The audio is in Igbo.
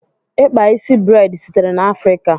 Ikpa isi breid sitere na Afrika.